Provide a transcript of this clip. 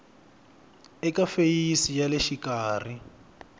eka feyisi ya le xikarhi